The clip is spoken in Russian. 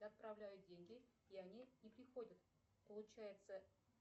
я отправляю деньги и они не приходят получается